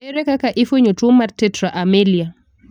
Ere kaka ifuenyo tuo mar tetra amelia?